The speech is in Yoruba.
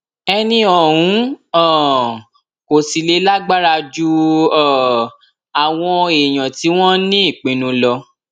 ẹni ọhún um kò sì lè lágbára ju um àwọn èèyàn tí wọn ní ìpinnu lọ